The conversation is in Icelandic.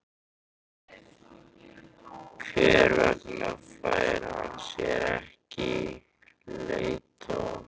Hver vegna fær hann sér ekki leiðtoga?